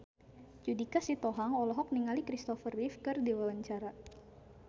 Judika Sitohang olohok ningali Christopher Reeve keur diwawancara